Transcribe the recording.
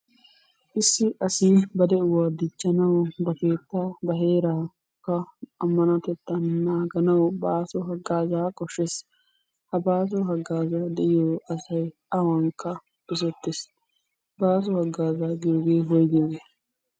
Issi asi ba de'uwa dichchanawu ba keettaa ba heeraakka minotettan naaganawu baasso hagaazzaa koshshees. Ha baaso hagaazay de'iyo asay awankka dosettees. Baasso hagaazzaa giyoogee woyggiyyogge?